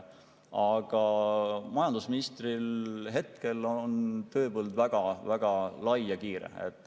Majandusministri tööpõld on hetkel väga lai.